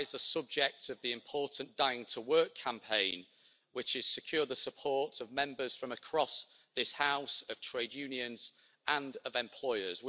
That is the subject of the important Dying to Work' campaign, which has secured the support of Members from across this House, of trade unions and of employers.